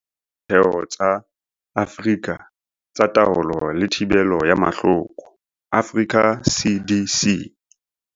Ka ho etsa seo, haholoholo re tshepetse tsebong, bokgoning le ditheong tsa kontinente tse jwalo ka Ditheo tsa Afrika tsa Taolo le Thibelo ya Mahloko, Africa CDC.